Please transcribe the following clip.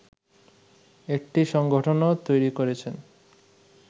একটি সাংগঠনও তৈরী করেছেন